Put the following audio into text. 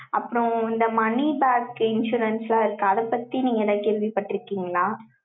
அப்புறம், இந்த money back க்கு, insurance ஆ இருக்கு. அதைப் பத்தி, நீங்க ஏதாவது கேள்விப்பட்டிருக்கீங்களா?